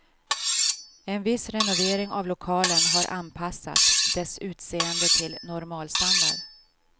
En viss renovering av lokalen har anpassat dess utseende till normalstandard.